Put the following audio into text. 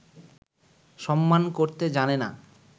সম্মান করতে জানে না